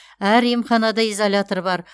әр емханада изолятор бар